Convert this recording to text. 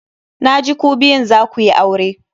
Na ji ku biyun za ku yi aure.